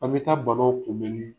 An be taa banaw kunbɛnni